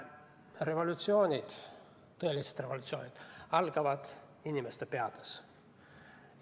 Revolutsioonid, tõelised revolutsioonid algavad inimeste peades.